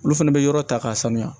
Olu fɛnɛ bɛ yɔrɔ ta k'a sanuya